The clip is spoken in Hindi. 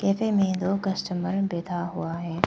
कैफे में दो कस्टमर बैठा हुआ है।